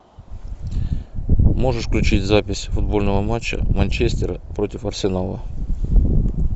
можешь включить запись футбольного матча манчестера против арсенала